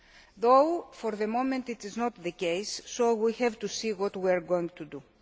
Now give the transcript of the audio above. Although for the moment this is not the case, we will have to see what we are going to do.